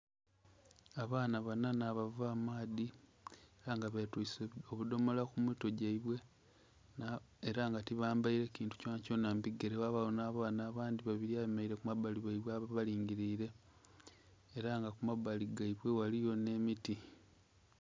Abaana banha nhabava amaadhi era nga betwise obudhomola kumitwe gyebwe era nga tibambeire kintu kyonha kyonha mubigere byeibwe, ghabagho nh'abaana abandhi babiri abemereire kumabbali ghaibwe ababalingirire era nga kumabbali ghaibwe ghaligho nh'emiti.